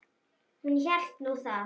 Hún hélt nú það.